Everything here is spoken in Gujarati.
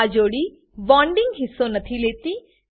આ જોડી બોન્ડીંગ હિસ્સો નથી લેતી